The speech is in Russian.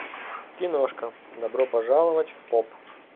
киношка добро пожаловать в поп